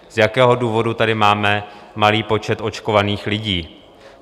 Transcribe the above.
Z jakého důvodu tady máme malý počet očkovaných lidí?